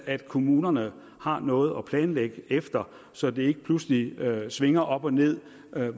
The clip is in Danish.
at kommunerne har noget at planlægge efter så det ikke pludselig svinger op og ned med